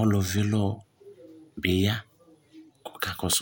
ɔlò vi ilɔ bi ya k'ɔka kɔsu